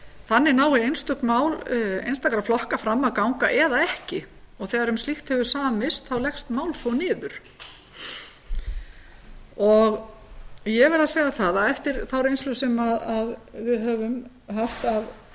þannig nái einstök mál einstakra flokka fram að ganga eða ekki og þegar um slíkt hefur samist þá leggst málþóf niður ég verð að segja það að eftir þá reynslu sem við höfum haft af